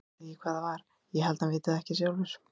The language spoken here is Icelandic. Ég veit ekki hvað það var, ég held hann viti það ekki sjálfur.